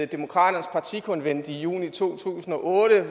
demokraternes partikonvent i juni to tusind og otte